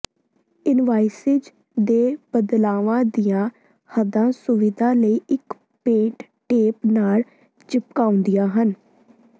invoices ਦੇ ਬਦਲਾਵਾਂ ਦੀਆਂ ਹੱਦਾਂ ਸੁਵਿਧਾ ਲਈ ਇੱਕ ਪੇਂਟ ਟੇਪ ਨਾਲ ਚਿਪਕਾਉਂਦੀਆਂ ਹਨ